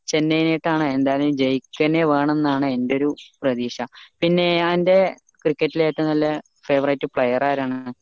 ചെന്നൈനേക്ക് ആണ് എന്തായലും ജയിച്ചെന്നെ വേണമെന്നാണ് എന്റെ ഒരു പ്രദീക്ഷ പിന്നീട് എന്റെ cricket ൽ നല്ല favorite player ആരാണ്